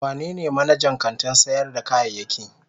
Wanene manajan kantin sayar da kayayyaki?